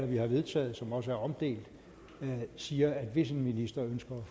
vi har vedtaget og som også er omdelt siger at hvis en minister ønsker at